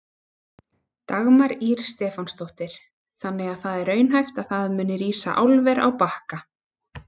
Dagmar Ýr Stefánsdóttir: Þannig að það er raunhæft að það muni rísa álver á Bakka?